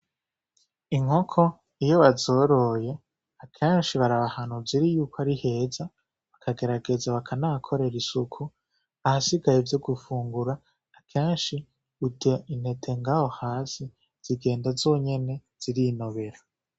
Inkoko iyo bazoroye akenshi baraba ahantu ziri yuko ari heza bakagerageza bakahakorera isuku, ahasigaye ivyo gufungura kenshi zirya intete ngaho hasi zigenda zonyene zirinobera